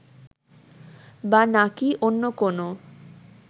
বা নাকী অন্য কোনও